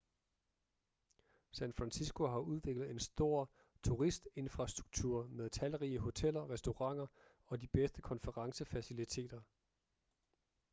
san francisco har udviklet en stor turistinfrastruktur med talrige hoteller restauranter og de bedste konferencefaciliteter